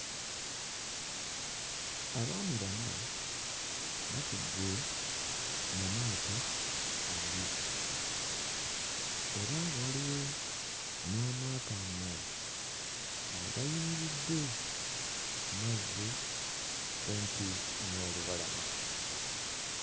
Abaami bana batudde mu maato abiri era nga waliwo n'amaato amalala agayimiridde mu mazzi kumpi n'olubalama.